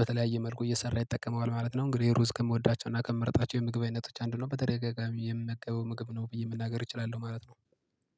በተለያየ መልኩ እየሰራ ይጠቀመዋል ማለት ነው። እንግዲህ ሩዝ ከምወዳቸውና ከምመርጣቸው የምግብ አይነቶች አንዱ ነው በተደጋጋሚ የምመገበው ምግብ ነው ብዬ መናገር እችላለሁ ማለት ነው